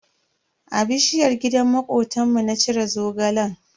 A bishiyar gidan makotanmu na cire Zogalen.